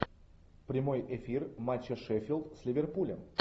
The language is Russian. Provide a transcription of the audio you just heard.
прямой эфир матча шеффилд с ливерпулем